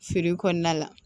Feere kɔnɔna la